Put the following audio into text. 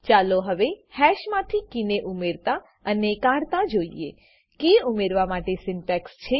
ચાલો હવે હેશ માંથી કીને ઉમેરતા અને કાઢતા જોઈએ કી ઉમેરવા માટે સિન્ટેક્સ છે